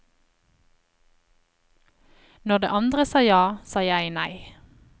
Når de andre sa ja, sa jeg nei.